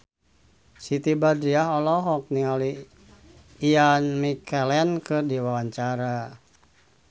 Siti Badriah olohok ningali Ian McKellen keur diwawancara